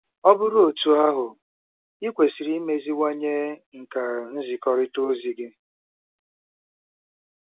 Ọ bụrụ otú ahụ, i kwesịrị imeziwanye nkà nzikọrịta ozi gị.